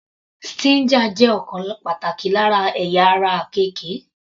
Stinger jẹ́ ọ̀kan pàtàkì lára ẹ̀yà ara àkekè.